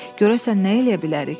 Görəsən nə eləyə bilərik?